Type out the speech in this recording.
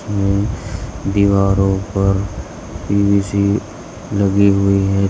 हम्म दीवारों पर पी_वी_सी लगी हुई है।